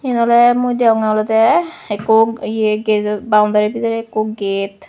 eyan olode mui degongge olode ekku eya boundary bidiri ekku get.